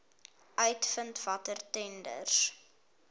uitvind watter tenders